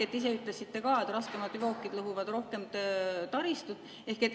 Te ise ütlesite ka, et raskemad veokid lõhuvad rohkem taristut.